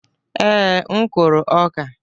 Ee, m kụrụ ọka.